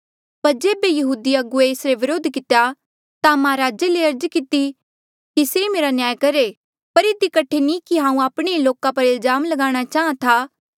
पर जेबे यहूदी अगुवे एसरे व्रोध कितेया ता महाराजे ले अर्ज किती से मेरा न्याय करहे पर इधी कठे नी कि हांऊँ आपणे ई लोका पर कोई इल्जाम ल्गाणा चाहां था